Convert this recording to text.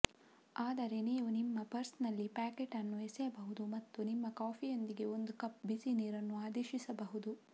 ಆದರೆ ನೀವು ನಿಮ್ಮ ಪರ್ಸ್ನಲ್ಲಿ ಪ್ಯಾಕೆಟ್ ಅನ್ನು ಎಸೆಯಬಹುದು ಮತ್ತು ನಿಮ್ಮ ಕಾಫಿಯೊಂದಿಗೆ ಒಂದು ಕಪ್ ಬಿಸಿ ನೀರನ್ನು ಆದೇಶಿಸಬಹುದು